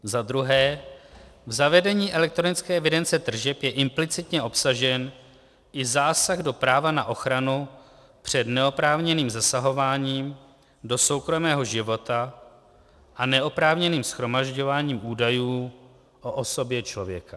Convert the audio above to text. Za druhé, v zavedení elektronické evidence tržeb je implicitně obsažen i zásah do práva na ochranu před neoprávněným zasahováním do soukromého života a neoprávněným shromažďováním údajů o osobě člověka.